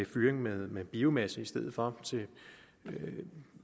fyring med med biomasse i stedet for